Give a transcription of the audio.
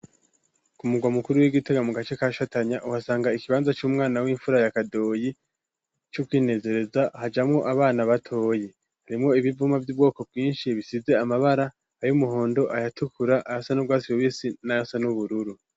ku mugwa mukuru w'igitega mu gace kashatanya uhasanga ikibanza c'umwana w'imfura ya kadoyi c'ukwinezereza hajamwo abana batoya harimwo ibivuma vy'ubwoko bwinshi bisize amabara ayo umuhondo ayatukura ayasa n'ugwatsi rubisi n'ayasa n'ubururu